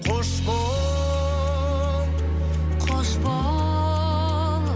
қош бол қош бол